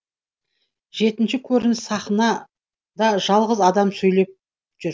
жетінші көрініс сахнада жалғыз адам сөйлеп жүр